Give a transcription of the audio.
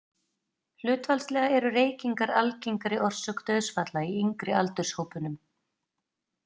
Hlutfallslega eru reykingar algengari orsök dauðsfalla í yngri aldurshópunum.